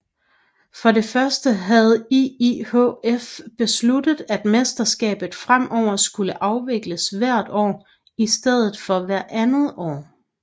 For det første havde IIHF besluttet at mesterskabet fremover skulle afvikles hvert år i stedet for hvert andet år